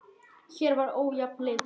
Hér var ójafn leikur.